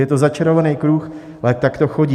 Je to začarovaný kruh, ale tak to chodí.